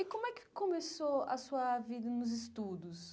E como é que começou a sua vida nos estudos?